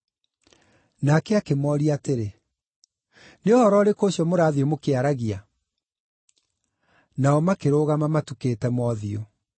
Nake akĩmooria atĩrĩ, “Nĩ ũhoro ũrĩkũ ũcio mũrathiĩ mũkĩaragia?” Nao makĩrũgama matukĩte mothiũ.